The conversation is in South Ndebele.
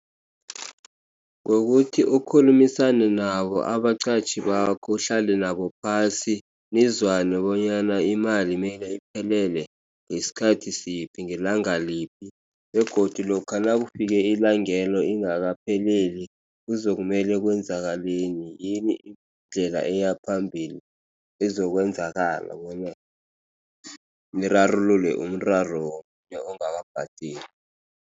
Kukuthi ukukhulumisane nabo abaqatjhi bakho uhlale nabo phasi nizwane bonyana imali mele iphelele ngesikhathi siphi ngelanga liphi begodu lokha nakufike ilangelo ingakapheleli kuzakumele kwenzakaleni yini indlela eya phambili ezokwenzakala bonyana nirarulule umraro womunye ongakabhadeli.